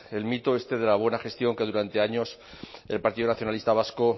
el mito este de la buena gestión que durante años el partido nacionalista vasco